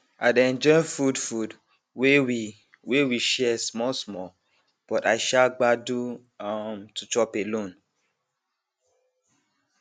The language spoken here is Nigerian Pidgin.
i dey enjoy food food wey we wey we share small small but i um gbadun um to chop alone